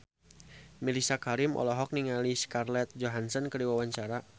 Mellisa Karim olohok ningali Scarlett Johansson keur diwawancara